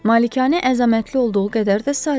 Malikanə əzəmətli olduğu qədər də sadə idi.